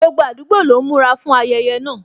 Gbogbo àdúgbò lọ ń múra fún ayẹyẹ náà